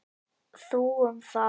Þú um það.